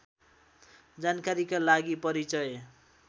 जानकारीका लागि परिचय